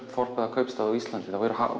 kaupstað á Íslandi eru